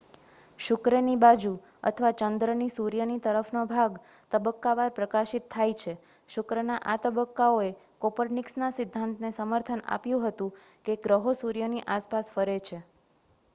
શુક્રની બાજુ અથવા ચંદ્રની સૂર્યની તરફનો ભાગ તબક્કાવાર પ્રકાશિત થાય છે. શુક્રના આ તબક્કાઓએ કોપરનિકસના સિદ્ધાંતને સમર્થન આપ્યું હતું કે ગ્રહો સૂર્યની આસપાસ ફરે છે